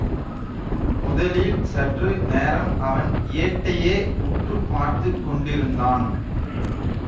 முதலில் சற்று நேரம் அவன் ஏட்டையே உற்று பார்த்து கொண்டிருந்தான்